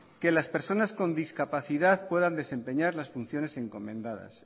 que las personas con discapacidad puedan desempeñar las funciones encomendadas